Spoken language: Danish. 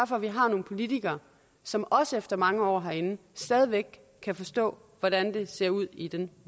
for at vi har nogle politikere som også efter mange år herinde stadig væk kan forstå hvordan det ser ud i den